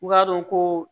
U b'a dɔn ko